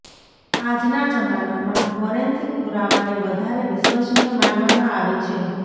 આજના જમાનામાં ફોરેન્સિક પુરાવાને વધારે વિશ્વસનીય માનવામાં આવે છે